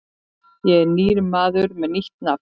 Ég er nýr maður með nýtt nafn.